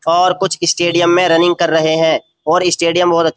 और कुछ स्टेडियम में रनिंग कर रहे हैं और स्टेडियम बहुत अच्छ --